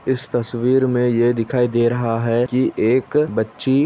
इस तस्वीर में ये दिखाई दे रहा है कि एक बच्ची--